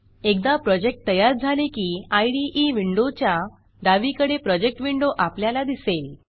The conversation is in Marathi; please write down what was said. एकदा प्रोजेक्ट तयार झाले की इदे विंडोच्या डावीकडे प्रोजेक्ट विंडो आपल्याला दिसेल